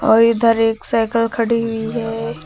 और इधर एक साइकल खड़ी हुई है।